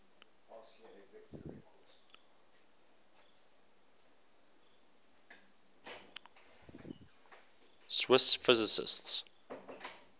swiss physicists